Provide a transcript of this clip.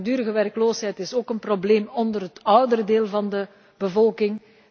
Langdurige werkloosheid is ook een probleem onder het oudere deel van de bevolking.